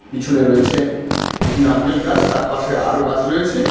পিছনে রয়েছে একটি নারকেল গাছ তার পাশে আরও গাছ রয়েছে।